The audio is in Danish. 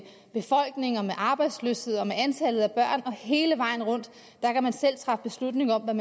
arbejdsløshed og med antal af børn og hele vejen rundt der kan man selv træffe beslutning om hvad